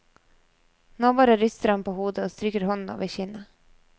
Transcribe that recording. Nå bare ryster han på hodet og stryker hånden over kinnet.